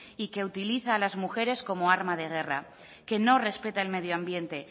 y que utiliza a las mujeres como arma de guerra que nos respeta el medio ambiente